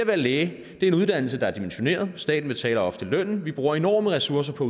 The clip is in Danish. være læge er en uddannelse der er dimensioneret staten betaler ofte lønnen og vi bruger enorme ressourcer på